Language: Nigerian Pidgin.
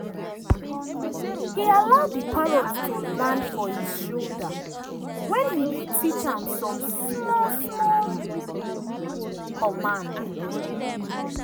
he allow the parrot to land for his shoulder when he dey teach am some small small command.